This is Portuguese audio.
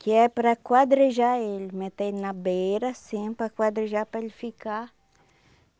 Que é para quadrejar ele, meter ele na beira, assim, para quadrejar para ele ficar.